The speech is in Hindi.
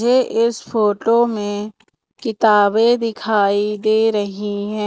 ये इस फोटो में किताबें दिखाई दे रही हैं।